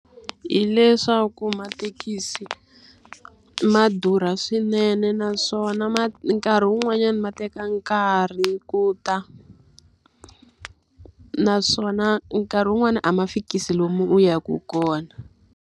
Hileswaku mathekisi ma durha swinene naswona nkarhi wun'wanyani ma teka nkarhi ku ta. Naswona nkarhi wun'wani a ma fikisi lomu u yaka kona.